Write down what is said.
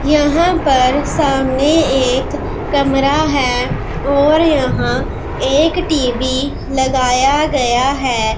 यहां पर सामने एक कमरा है और यहां एक टी_वी लगाया गया है।